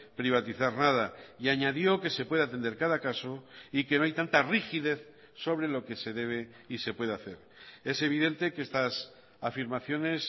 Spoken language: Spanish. privatizar nada y añadió que se puede atender cada caso y que no hay tanta rigidez sobre lo que se debe y se puede hacer es evidente que estas afirmaciones